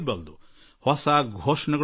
ಹೊಸ ಘೋಷಣೆ ಸಿಗುತ್ತದೆ